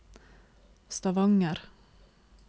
Stavanger